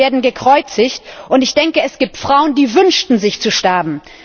Kinder werden gekreuzigt und ich denke, es gibt Frauen, die wünschten sich zu sterben.